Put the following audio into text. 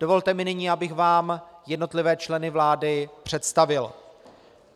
Dovolte mi nyní, abych vám jednotlivé členy vlády představil: